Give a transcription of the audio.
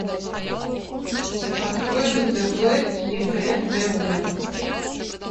открой на тв егэ тв